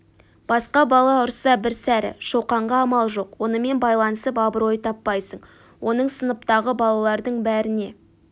басқа бала ұрса бір сәрі шоқанға амал жоқ онымен байланысып абырой таппайсың оның сыныптағы балалардың бәріне